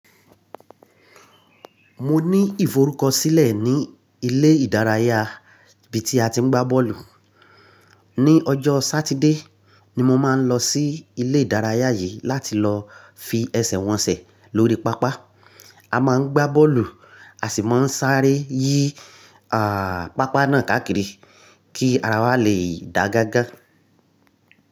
Mo ní ìforúkọ sílẹ̀ ní ilé ìdárayá ibi tí a ti ń gbá bọ́ọ̀lù. Ni ọjọ́ Sátidé ni mo máa ń lọ sí ilé ìdárayá yìí láti lọ fi ẹsẹ̀ wọn ẹsẹ̀ lórí pápá. A máa ń gbá bọ́ọ̀lù, a sì máa ń sáré yí àà pápá náà káàkiri kí ara wa lè dà gágá.